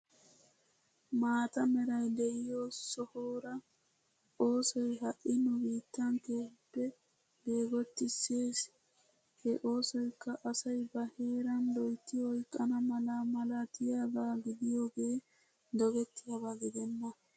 Maata meray de'iyoo sohora osooy ha'i nu biittan keehippe beggottisees. He osooyikka asay ba heera loyitt oyqqana mala maalatiyaaga gidiyooge doggettiyaaba gideena.